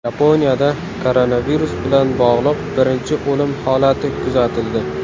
Yaponiyada koronavirus bilan bog‘liq birinchi o‘lim holati kuzatildi.